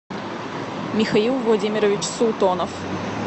михаил владимирович султонов